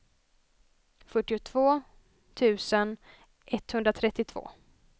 fyrtiotvå tusen etthundratrettiotvå